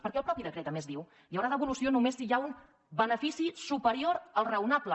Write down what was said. perquè el mateix decret a més diu hi haurà devolució només si hi ha un benefici superior al raonable